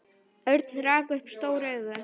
Örn rak upp stór augu.